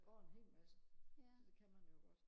der går en hel masse så det kan man jo godt